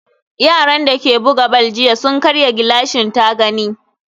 yaran dake buga ball jiya sun karya gilashin tagani